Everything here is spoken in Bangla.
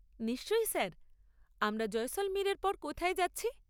নিশ্চয়ই স্যার, আমরা জয়সলমীরের পর কোথায় যাচ্ছি?